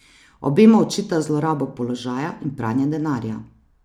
Obema očita zlorabo položaja in pranje denarja.